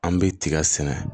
An bɛ tiga sɛnɛ